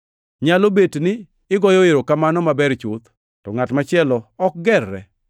Nyalo bet ni igoyo erokamano maber chuth, to ngʼat machielo ok gerre.